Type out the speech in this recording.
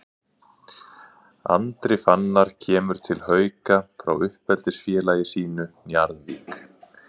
Andri Fannar kemur til Hauka frá uppeldisfélagi sínu Njarðvík.